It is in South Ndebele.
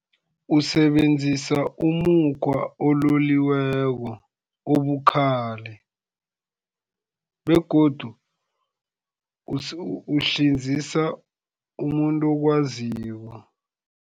Usebenzisa umukhwa ololiweko obukhali, begodu uhlinzisa umuntu okwaziko.